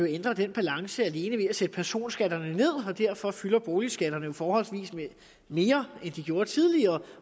ændre den balance alene ved at sætte personskatterne ned så fylder boligskatterne jo forholdsvis meget mere end de gjorde tidligere